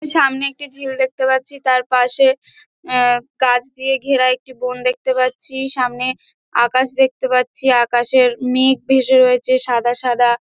এর সামনে একটি ঝিল দেখতে পারছি তার পশে এ গাছ দিয়ে ঘেরা একটি বন দেখতে পারছি। সামনে আকাশ দেখতে পারছি। আকাশের মেঘ ভেসে রয়েছে সাদা সাদা |